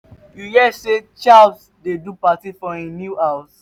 you hear say charles dey do party for im new house